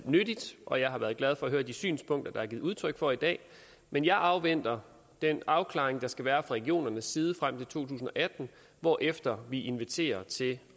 nyttigt og jeg har været glad for at høre de synspunkter der er blevet udtryk for i dag men jeg afventer den afklaring der skal være fra regionernes side frem til to tusind og atten hvorefter vi inviterer til